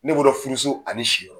Ne b'o dɔn furu so ani ni si yɔrɔ.